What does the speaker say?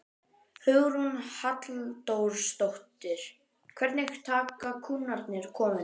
Hugrún Halldórsdóttir: Hvernig taka kúnnarnir komunni?